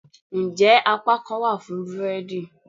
njẹ apakan wa fún búredì?